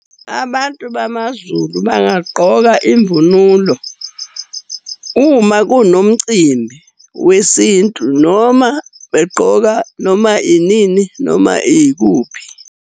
Abantu bamaZulu bangagqoka imvunulo uma kunomcimbi wesintu, noma begqoka noma inini, noma ikuphi.